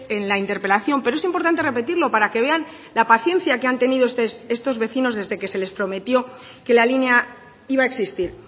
en la interpelación pero es importante repetirlo para que vean la paciencia que han tenido estos vecinos desde que se les prometió que la línea iba a existir